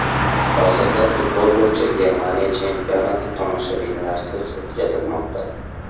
Hozirda futbol bo‘yicha Germaniya chempionati tomoshabinlarsiz o‘tkazilmoqda.